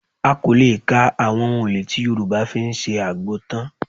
A kò lè kan àwọn ohun-èlò tí Yorùbá fi ń ṣe àgbo tán